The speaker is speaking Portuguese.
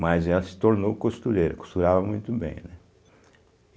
Mas ela se tornou costureira, costurava muito bem, né?